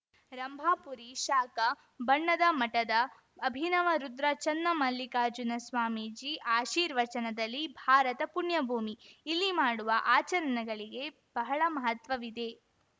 ರಂಭಾಪುರಿ ಶಾಖಾ ಬಣ್ಣದಮಠದ ಅಭಿನವ ರುದ್ರ ಚನ್ನಮಲ್ಲಿಕಾರ್ಜುನ ಸ್ವಾಮೀಜಿ ಆಶೀರ್ವಚನದಲಿ ಭಾರತ ಪುಣ್ಯಭೂಮಿ ಇಲ್ಲಿ ಮಾಡುವ ಆಚರಣೆಗಳಿಗೆ ಬಹಳ ಮಹತ್ವವಿದೆ